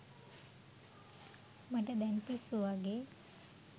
මට දැන් පිස්සු වගේ